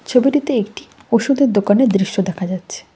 ছবিটিতে একটি ওষুধের দোকানের দৃশ্য দেখা যাচ্ছে।